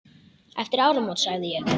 Eftir áramót sagði ég.